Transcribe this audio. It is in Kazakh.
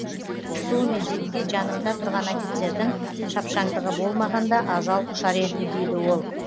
сол мезетте жанымда тұрған офицердің шапшаңдығы болмағанда ажал құшар едім дейді ол